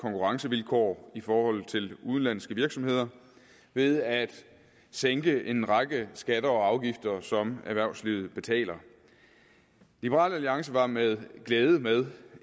konkurrencevilkår i forhold til udenlandske virksomheder ved at sænke en række skatter og afgifter som erhvervslivet betaler liberal alliance var med glæde med